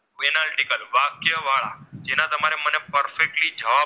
perfectly જ